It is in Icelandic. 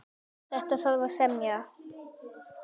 Um þetta þarf að semja.